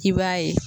I b'a ye